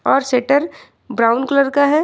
और shutter brown colour का है।